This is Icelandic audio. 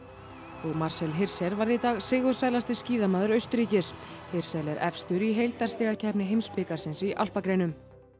og Marcel Hirscher varð í dag sigursælasti skíðamaður Austurríkis hirschel er efstur í heildarstigakeppni heimsbikarsins í alpagreinum